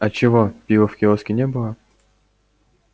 а чего пива в киоске не было